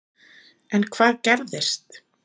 En hvað gerist?